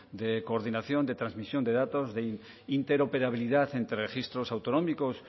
de coordinación de transmisión de datos de interoperabilidad entre registros autonómicos